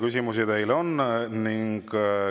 Küsimusi teile on.